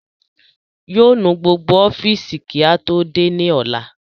Yóò nu gbogbo ọ́fìsì kí á tó dé ní ọ̀la